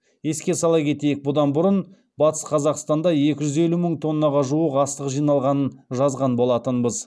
еске сала кетейік бұдан бұрын батыс қазақстанда екі жүз елу мың тоннаға жуық астық жиналғанын жазған болатынбыз